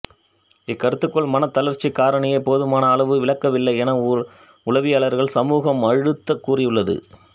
இக்கருதுகோள் மனத் தளர்ச்சிக் காரணியை போதுமான அளவு விளக்கவில்லை என உளவியலாளர் சமூகம் அழுந்தக் கூறியுள்ளது